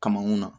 Kamankun na